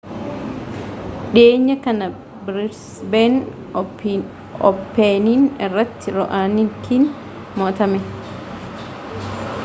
dhiyeenya kana biriisbeeen ooppenii irrattii ra'oonikiin mo'atame